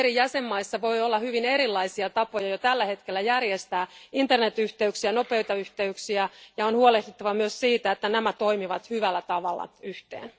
Eri jäsenmaissa voi olla hyvin erilaisia tapoja jo tällä hetkellä järjestää internetyhteyksiä, nopeita yhteyksiä, ja on huolehdittava myös siitä, että nämä toimivat hyvällä tavalla yhteen.